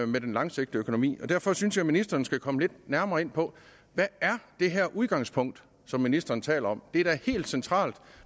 med den langsigtede økonomi derfor synes jeg ministeren skal komme lidt nærmere ind på hvad det her udgangspunkt som ministeren taler om det er da helt centralt